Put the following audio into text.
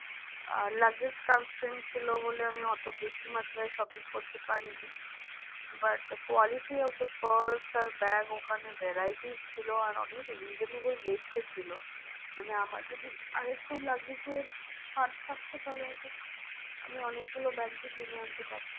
আর একটু luggage এর ছাড় থাকতো তাহলে হয়তো আমি অনেক গুলো bags ই কিনে আনতে পারতাম।